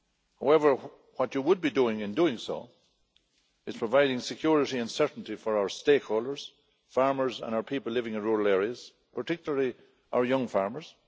However, what you would be doing in doing so is providing security and certainty for our stakeholders, famers and our people living in rural areas, particularly our young farmers.